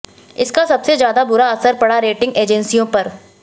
इसका सबसे ज्यादा बुरा असर पड़ा रेटिंग एजेंसियों पर